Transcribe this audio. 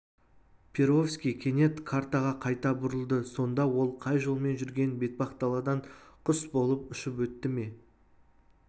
перовский кенет картаға қайта бұрылды сонда ол қай жолмен жүрген бетпақдаладан құс болып ұшып өтті ме